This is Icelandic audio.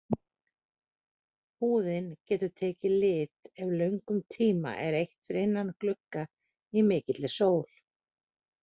Húðin getur tekið lit ef löngum tíma er eytt fyrir innan glugga í mikilli sól.